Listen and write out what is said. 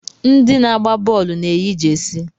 Ndị na-agba bọọlụ na-eyi jesi.